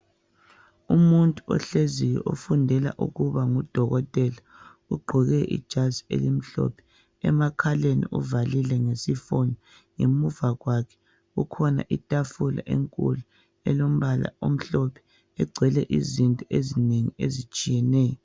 Umuntu ohleziyo ofundela ukuba ngudokotela. Ugqoke ijazi elimhlophe. Emakhaleni, uvalile ngesifonyo. Ngemuva kwakhe, kukhona itafula enkulu, elombala omhlophe. Egcwele izinto ezinengi ezitshiyeneyo.